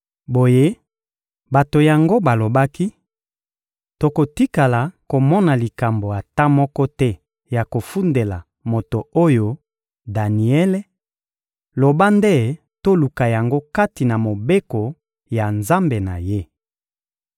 Boye, bato yango balobaki: — Tokotikala komona likambo ata moko te ya kofundela moto oyo, Daniele; loba nde toluka yango kati na mobeko ya Nzambe na ye.